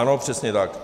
Ano, přesně tak.